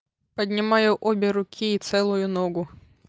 поднимаю обе руки и целую ногу